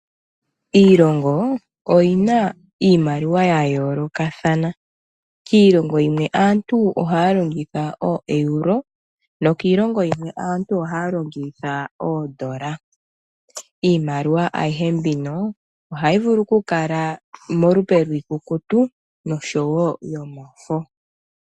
Iilongo oyi na iimaliwa ya yoolokathana. Kiilongo yimwe aantu ohaya longitha ooeuro nokiilongo yimwe aantu ohaya longitha oodola. Iimaliwa ayihe mbino ohayi vulu okukala molupe lwiikukutu nosho wo yomafo.